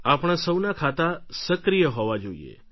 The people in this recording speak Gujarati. આપણા સૌનાં ખાતાં સક્રિય હોવા જોઈએ